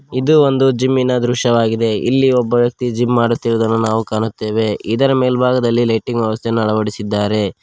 ಇದು ಒಂದು ಜಿಮ್ಮಿನ ದೃಶ್ಯವಾಗಿದೆ ಇಲ್ಲಿ ಒಬ್ಬ ವ್ಯಕ್ತಿ ಜಿಮ್ ಮಾಡುತ್ತಿರುವುದನ್ನು ನಾವು ಕಾಣುತ್ತೇವೆ ಇದರ ಮೇಲ್ಭಾಗದಲ್ಲಿ ಲೈಟಿಂಗ್ ವ್ಯವಸ್ಥೆಯನ್ನು ಅಳವಡಿಸಿದ್ದಾರೆ.